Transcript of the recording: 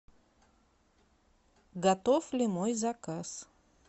готов ли мой заказ